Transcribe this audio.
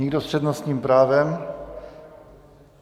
Nikdo s přednostním právem?